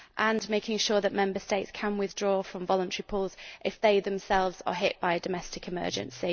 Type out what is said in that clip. and making sure that Member States can withdraw from voluntary pools if they themselves are hit by a domestic emergency.